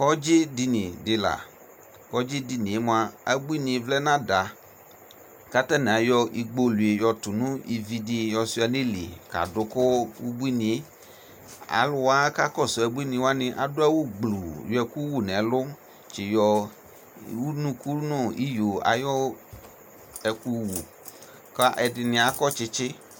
Kɔdzi dini di la Kɔdzi dini yɛ moa, abuini vlɛ nʋ ada kʋ atani ayɔ igbɔlʋe yɔtʋ nʋ ivi di yɔsua nʋ ili kadʋ kʋ ubuini e Alʋwa kakɔsʋ abuini wani adʋ awʋ gbluu yɔ ɛkʋ wu nɛlʋ, tsi yɔ unuku nʋ iyo ayu ɛkʋwu kʋ ɛdini akɔ tsitsi